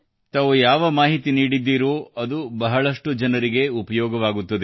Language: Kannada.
ತಾವು ಯಾವ ಮಾಹಿತಿ ನೀಡಿದ್ದೀರೋ ಅದು ಬಹಳಷ್ಟು ಜನರಿಗೆ ಉಪಯೋಗವಾಗುತ್ತದೆ